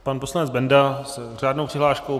Pan poslanec Benda s řádnou přihláškou.